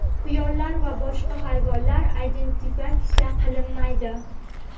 quyonlar va boshqa hayvonlar identifikatsiya qilinmaydi.